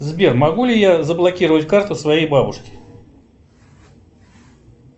сбер могу ли я заблокировать карту своей бабушки